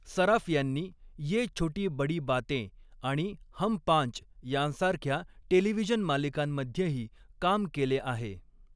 सराफ यांनी ये छोटी बड़ी बातें आणि हम पांच यांसारख्या टेलिव्हिजन मालिकांमध्येही काम केले आहे.